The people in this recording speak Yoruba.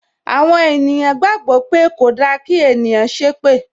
Àwọn ènìyàn gbàgbó pé kòda kí ènìyàn ṣépè